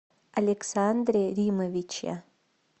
александре римовиче